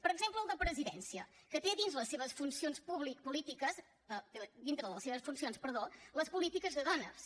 per exemple el de presidència que té dins de les seves funcions polítiques dintre de les seves funcions perdó les polítiques de dones